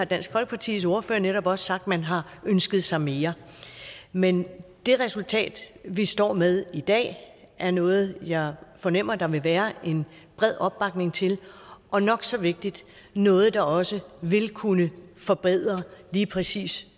dansk folkepartis ordfører har netop også sagt at man har ønsket sig mere men det resultat vi står med i dag er noget jeg fornemmer der vil være en bred opbakning til og nok så vigtigt noget der også vil kunne forbedre lige præcis